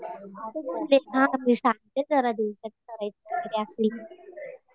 हा मी सांगते करायचं असली तर.